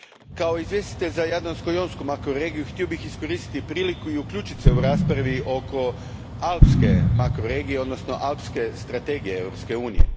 Kao izvjestitelj za Jadransko jonsku makroregiju htio bih iskoristiti priliku i uključit se u raspravu oko Alpske makroregije, odnosno alpske strategije Europske unije.